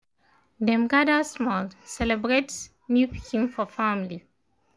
dem gather small celebrate new pikin for family